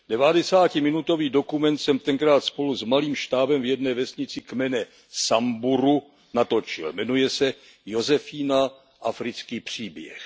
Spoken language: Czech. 90minutový dokument jsem tenkrát spolu s malým štábem v jedné vesnici kmene Samburu natočil. Jmenuje se Josefína africký příběh.